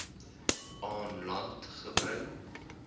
aan land gebring